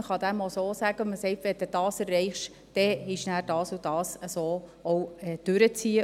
Man kann dem auch so sagen: «Wenn du das erreichst, ist dann auch dieses und jenes möglich.»